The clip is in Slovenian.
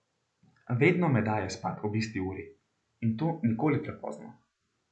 Vedno me daje spat ob isti uri, in to nikoli prepozno.